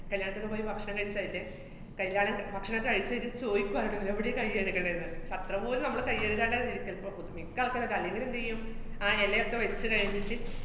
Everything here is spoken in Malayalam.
കല്യാണത്തിനു പോയി ഭക്ഷണം കയിച്ചായില്ലേ, കല്യാണം ഭക്ഷണോക്കെ കയിച്ച്കയിഞ്ഞ് ചോയിക്കുവാര്ന്ന് എവിടെ കൈ കഴുകണേന്ന്. അത്രപോലും നമ്മള് കൈ കഴുകാണ്ടാര്ന്ന് ഇരിക്കല്‍. ഇപ്പ പൊതു മിക്ക ആള്‍ക്കാരൊക്കെ. അല്ലെങ്കിലെന്ത് ചെയ്യും, ആ എലയൊക്കെ വച്ചുകയിഞ്ഞിട്ട്